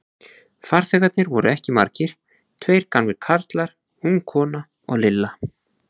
Farþegarnir voru ekki margir, tveir gamlir karlar, ung kona og Lilla.